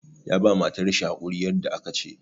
Ya ba matar shi hakuri yadda aka ce.